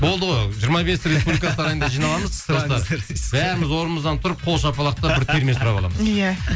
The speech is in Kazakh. болды ғой жиырма бесі республика сарайында жиналамыз просто бәріміз орнымыздан тұрып қол шапалақтап бір терме сұрап аламыз иә